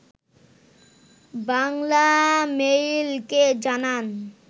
বাংলামেইলকে জানান